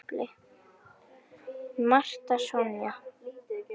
Marta Sonja.